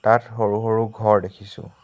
তাত সৰু সৰু ঘৰ দেখিছোঁ।